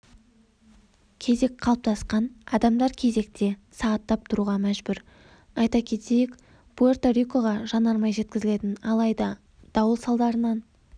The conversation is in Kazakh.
кезек қалыптасқан адамдар кезекте сағаттап тұруға мәжбүр айта кетейік пуэрто-рикоға жанармай жеткізілетін алайда дауыл салдарынан